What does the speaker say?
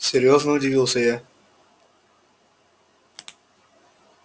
серьёзно удивился я